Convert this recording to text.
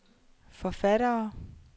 forfattere